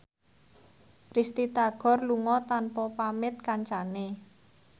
Risty Tagor lunga tanpa pamit kancane